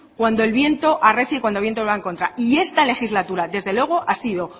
cuando el viento arrecie y cuando el viento va en contra y esta legislatura desde luego ha sido